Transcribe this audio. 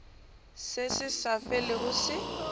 se se sa felego se